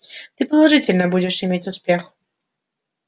ты положительно будешь иметь успех